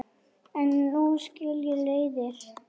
En nú skilja leiðir.